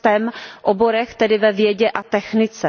STEM oborech, tedy ve vědě a technice.